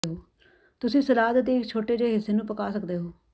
ਤੁਸੀਂ ਸਲਾਦ ਦੇ ਇੱਕ ਛੋਟੇ ਜਿਹੇ ਹਿੱਸੇ ਨੂੰ ਪਕਾ ਸਕਦੇ ਹੋ